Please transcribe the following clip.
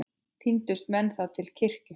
Tíndust menn þá til kirkju.